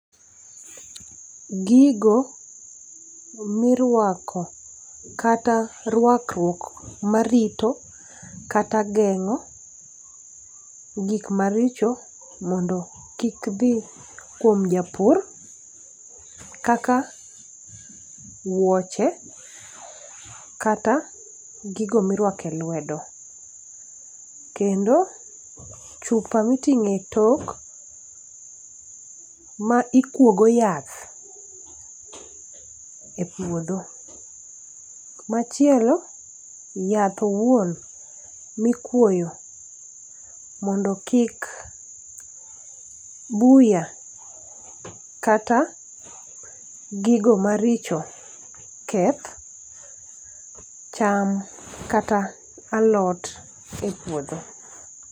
Gigo miruako kata ruakruok marito kata geng'o gik maricho mondo kik dhi kuom japur kaka wuoche kata gigo miruako e luedo kendo chupa miting'o e tok ma ikuo go yath e puodho. Machielo yath owuon mikuoyo mondo kik buya kata gigo maricho keth cham kata alot e puodho.